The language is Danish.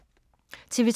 TV 2